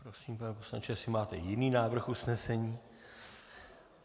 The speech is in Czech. Prosím, pane poslanče, jestli máte jiný návrh usnesení.